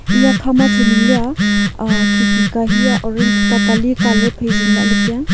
eya kha ma thoi ningle a khee ka hia orange tatali colour phai zingla taiaa.